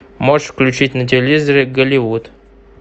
можешь включить на телевизоре голливуд